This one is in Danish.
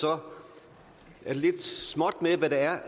er det lidt småt med hvad der er